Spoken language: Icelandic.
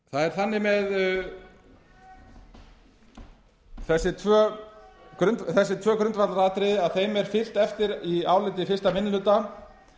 þannig eð þessi tvö grundvallaratriði að þeim er fylgt eftir í áliti fyrsti minni hluta